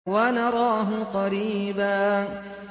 وَنَرَاهُ قَرِيبًا